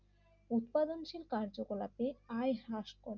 কজনশীল কার্যকলাপে আয় হার্শ করে